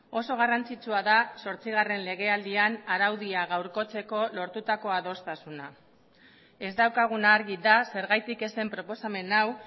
oso garrantzitsua da zortzigarren legealdian araudia gaurkotzeko lortutako adostasuna ez daukaguna argi da zergatik ez zen proposamen hau